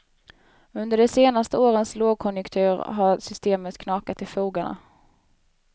Under de senaste årens lågkonjunktur har systemet knakat i fogarna.